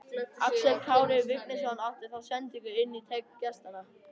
Axel Kári Vignisson átti þá sendingu inn í teig gestanna.